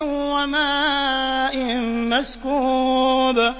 وَمَاءٍ مَّسْكُوبٍ